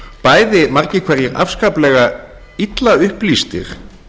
bæði margir hverjir afskaplega illa upplýstir